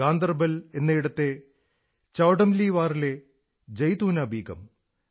ഗാന്ദർബൽ എന്നയിടത്തെ ചൌംടലീവാറിലെ ജൈതൂനാ ബീഗം